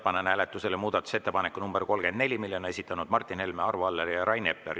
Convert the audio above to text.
Panen hääletusele muudatusettepaneku nr 34, mille on esitanud Martin Helme, Arvo Aller ja Rain Epler.